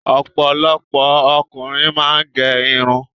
Ọ̀pọ̀lọpọ̀ ọkùnrin máa ń gé irun.